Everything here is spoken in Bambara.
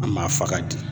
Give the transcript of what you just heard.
An ma faga di